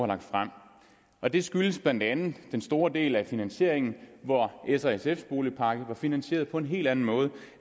lagt frem og det skyldes blandt andet den store del af finansieringen hvor s og sfs boligpakke var finansieret på en helt anden måde